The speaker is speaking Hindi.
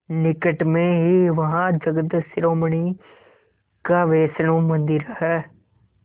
निकट में ही वहाँ जगत शिरोमणि का वैष्णव मंदिर है